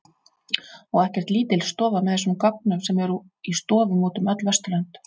Og ekkert lítil stofa með þessum gögnum sem eru í stofum út um öll Vesturlönd.